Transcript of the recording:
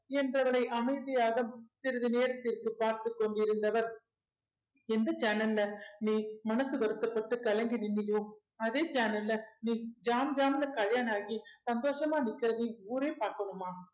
என்று அவளை அமைதியாக சிறிது நேரத்திற்கு பார்த்துக் கொண்டிருந்தவர் எந்த channel ல நீ மனசு வருத்தப்பட்டு கலங்கி நின்னயோ அதே channel அ நீ ஜாம் ஜாம்னு கல்யாணம் ஆகி சந்தோஷமா நிக்கிறது ஊரே பார்க்கணுமா